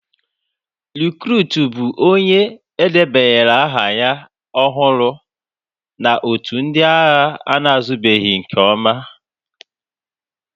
Rịkrut bụ onye e debanyere aha ya ọhụrụ na otù ndị agha ana-azụbeghị nke ọma.